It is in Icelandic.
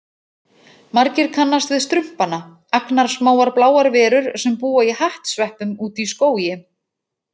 Margir kannast við Strumpana, agnarsmáar bláar verur sem búa í hattsveppum úti í skógi.